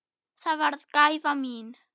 Það varð gæfa mín.